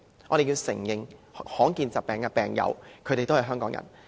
我們要承認，罕見疾病的病友也是香港人。